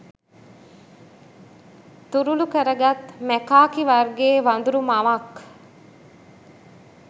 තුරුළු කරගත් මැකාකි වර්ගයේ වඳුරු මවක්